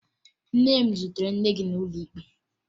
Nne m zutere nne gị n'ụlọ ikpe